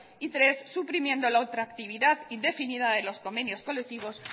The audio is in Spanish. tres suprimiendo la ultractividad indefinida de los convenios colectivos